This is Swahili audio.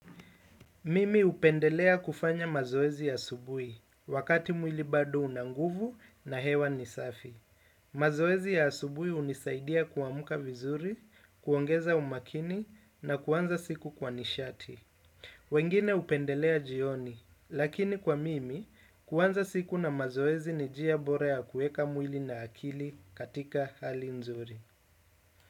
Mimi hupendelea kufanya mazoezi asubuhi, wakati mwili bado una nguvu na hewa ni safi. Mazoezi ya asubuhi hunisaidia kuamka vizuri, kuongeza umakini na kuanza siku kwa nishati. Wengine hupendelea jioni, lakini kwa mimi, kuanza siku na mazoezi ni njia bora ya kuweka mwili na akili katika hali nzuri.